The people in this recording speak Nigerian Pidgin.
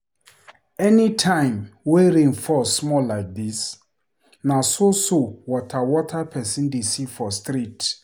Anytime wey rain fall small like dis, na so so water water pesin dey see for street.